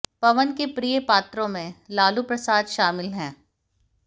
पवन के प्रिय पात्रों में लालू प्रसाद शामिल है